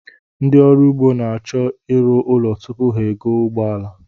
Ndị ọrụugbo na-achọ ịrụ ụlọ tupu ha egoo ụgbọala